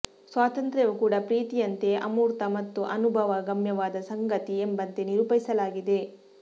ಸ್ವಾತಂತ್ರ್ಯವೂ ಕೂಡ ಪ್ರೀತಿಯಂತೆ ಅಮೂರ್ತ ಮತ್ತು ಅನುಭವ ಗಮ್ಯವಾದ ಸಂಗತಿ ಎಂಬಂತೆ ನಿರೂಪಿಸಲಾಗಿದೆ